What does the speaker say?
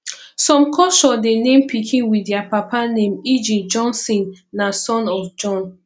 some culture de name pikin with their papa name eg jonsson na son of jon